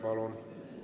Palun!